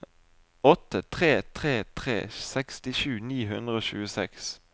åtte tre tre tre sekstisju ni hundre og tjueseks